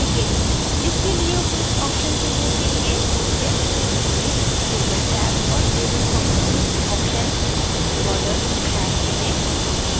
इसके लिए उपयुक्त option चुनने के लिए मुख्य menu में table टैब और table properties option borders tab चुनें